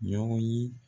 Ɲɔgɔn ye